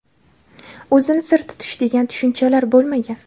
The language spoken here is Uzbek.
o‘zini sir tutish degan tushunchalar bo‘lmagan.